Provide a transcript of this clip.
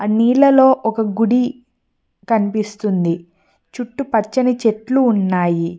నీళ్లలో ఒక గుడి కనిపిస్తుంది చుట్టుపచ్చని చెట్లు ఉన్నాయి.